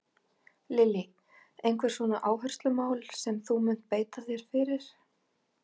Lillý: Einhver svona áherslumál sem að þú munt beita þér fyrir?